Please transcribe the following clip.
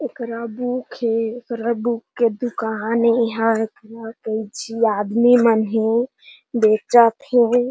एकरा बुक हे एकरा बुक के दुकान हे एहा एकरा जिया आदमी मन हे बेचत हे।